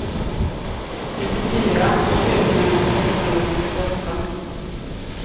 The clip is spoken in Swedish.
nittiofyra tusen sexhundrasextioåtta